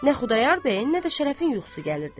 Nə Xudayar bəyin, nə də Şərəfin yuxusu gəlirdi.